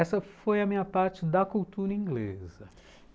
Essa foi a minha parte da cultura inglesa.